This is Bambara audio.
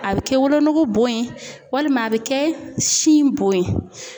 A bɛ kɛ wolonugu bon ye walima a bɛ kɛ sin bon ye.